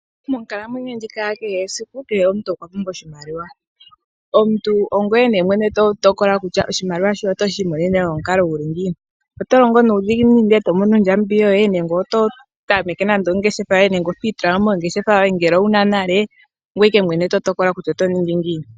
Monkalamwenyo ndjika ya kehe esiku omuntu okwa pumbwa oshimaliwa. Omuntu ongweye nee mwene to tokola kutya oshimaliwa oto shi I monene nomukalo guli ngiini? Oto longo niidhiginini ndee to mono ondjambi yoye nenge otwii tula mo mongeshefa yoye ngele owuna nale ongoye Ike mwene to tokola kutya oto ningi ngiini.